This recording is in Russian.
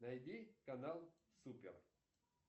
найди канал супер